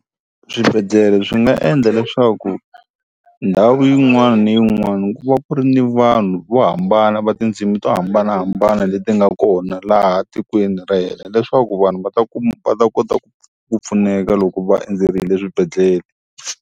Swibedhlele swi nga endla leswaku ndhawu yin'wana ni yin'wana ku va ku ri ni vanhu vo hambana va tindzimi to hambanahambana leti nga kona laha tikweni ra hina leswaku vanhu va ta va ta kota ku ku pfuneka loko va endzerile swibedhlele.